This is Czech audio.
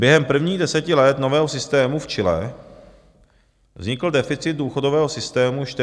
Během prvních deseti let nového systému v Chile vznikl deficit důchodového systému 4 % HDP.